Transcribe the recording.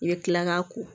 I bɛ kila k'a ko